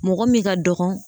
Mɔgɔ min ka dɔgɔ